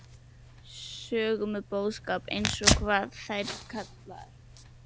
Sögu með boðskap: eins og- hvað eru þær kallaðar?